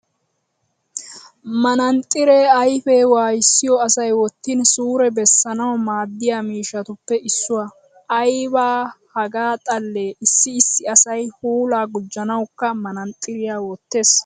Manaaxxiree ayifee wayissiyo asay wottin suure bessanawu maaddiya miishshatuppe issuwa. Ayiba hagaa xallee issi issi asay puulaa gujjanawukka manaaxxiriya wottes.